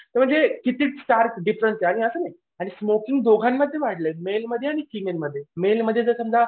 हे जे किती डिफरंस आणि स्मोकिंग दोघांमध्ये वाढलंय मेलमध्ये आणि फीमेलमध्ये मेलमध्ये जर समजा.